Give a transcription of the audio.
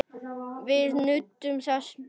Við nutum þess báðir.